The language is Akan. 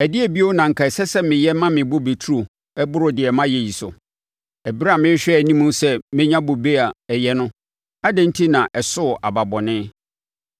Ɛdeɛn bio na anka ɛsɛ sɛ meyɛ ma me bobe turo boro deɛ mayɛ yi so? Ɛberɛ a merehwɛ anim sɛ menya bobe a ɛyɛ no adɛn enti na ɛsoo aba bɔne?